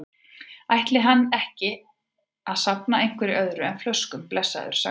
Ætli hann ætti ekki að safna einhverju öðru en flöskum, blessaður, sagði hún.